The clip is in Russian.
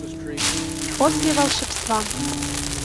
после волшебства